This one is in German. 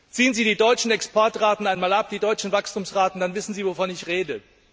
Ziehen Sie die deutschen Exportraten einmal ab, die deutschen Wachstumsraten, dann wissen Sie, wovon ich rede.